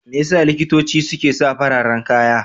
Me ya sa likitoci suke sa fararen kaya?